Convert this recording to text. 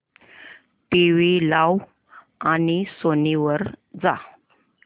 TV लाव आणि Sony वर जा